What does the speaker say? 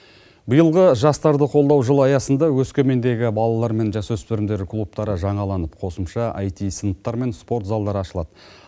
биылғы жастарды қолдау жылы аясында өскемендегі балалар мен жасөспірімдер клубтары жаналып қосымша айти сыныптар мен спорт залдар ашылады